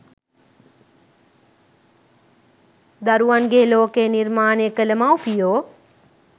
දරුවන්ගේ ලෝකය නිර්මාණය කළ මව්පියෝ